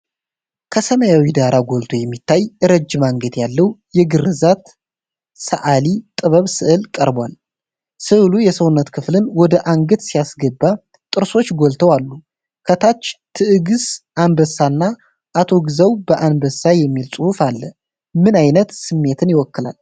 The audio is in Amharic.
ከሰማያዊው ዳራ ጎልቶ የሚታይ፣ ረጅም አንገት ያለው የግርዛት ሰዓሊ ጥበብ ሥዕል ቀርቧል። ሥዕሉ የሰውነት ክፍልን ወደ አንገት ሲያስገባ ጥርሶች ጎልተው አሉ። ከታች "ትዕግስ አንበሳና አቶ ግዛው በአንበሳ" የሚል ጽሑፍ አለ። ምን ዓይነት ስሜትን ይወክላል?